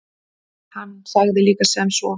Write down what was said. Hann sagði líka sem svo: